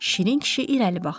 Şirin kişi irəli baxdı.